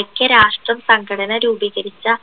ഐക്യരാഷ്ട്ര സംഘടന രൂപീകരിച്ച